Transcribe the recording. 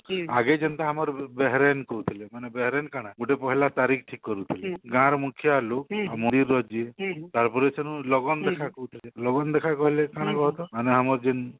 ଆଗେ ଯେନ୍ତା ଆମର ବେହେରେନ କହୁଥିଲେ ମାନେ ବେହେରେନ କାଣା ଗୁଟେ ପହିଲା ତାରିଖ ଠିକ କରୁଥିଲେ ଗାଁ ର ମୁଖିଆ ଲୋଗ ଯିଏ ତାରପରେ ସେନୁ ଲଗନ ଦେଖା କହୁଥିଲେ ଲଗନ ଦେଖା କହିଲେ କାଣା କୁହତ ମାନେ ଆମର ଯେନ